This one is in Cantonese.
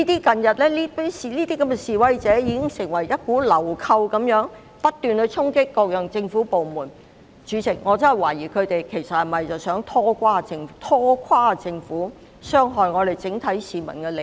近日的示威者如同流寇般不斷衝擊各個政府部門，代理主席，我真的懷疑他們其實是否想拖垮政府，傷害整體市民的利益？